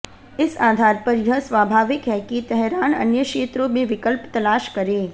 इस आधार पर यह स्वाभाविक है कि तेहरान अन्य क्षेत्रों में विकल्प तलाश करे